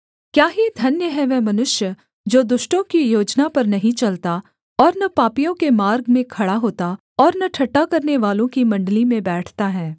क्या ही धन्य है वह मनुष्य जो दुष्टों की योजना पर नहीं चलता और न पापियों के मार्ग में खड़ा होता और न ठट्ठा करनेवालों की मण्डली में बैठता है